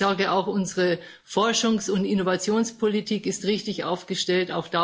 Ich sage Auch unsere Forschungs und Innovationspolitik ist richtig aufgestellt.